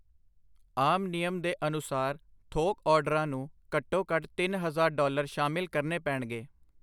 ਆਮ ਨਿਯਮ ਦੇ ਅਨੁਸਾਰ ਥੋਕ ਆਰਡਰਾਂ ਨੂੰ ਘੱਟੋ ਘੱਟ ਤਿੰਨ ਹਜ਼ਾਰ ਡਾਲਰ ਸ਼ਾਮਿਲ ਕਰਨੇ ਪੇਣਗੇ।